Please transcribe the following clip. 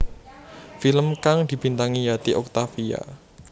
Film kang dibintangi Yati Octavia